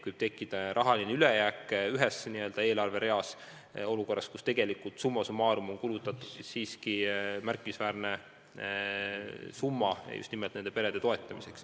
Võib tekkida raha ülejääk ühel eelarvereal, aga tegelikult summa summarum on kulutatud siiski märkimisväärne summa nende perede toetamiseks.